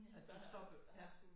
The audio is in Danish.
At du stoppede ja